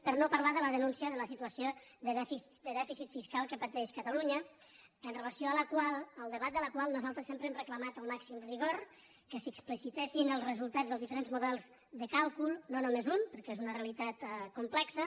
per no parlar de la denúncia de la situació de dèficit fis·cal que pateix catalunya al debat de la qual nosaltres sempre hem demanat el màxim rigor que s’explici·tessin els resultats dels diferents models de càlcul no només un perquè és una realitat complexa